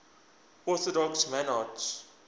orthodox monarchs